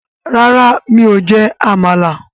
Rárá, mi ò jẹ́ Àmàlà